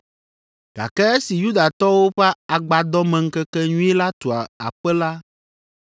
Gake esi Yudatɔwo ƒe Agbadɔmeŋkekenyui la tu aƒe la,